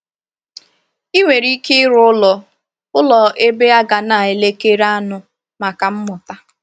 I nwere ike ịrụ ụlọ ụlọ ebe a ga na-elekere aṅụ maka mmụta